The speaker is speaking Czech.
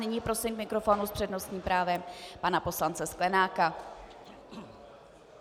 Nyní prosím k mikrofonu s přednostním právem pana poslance Sklenáka.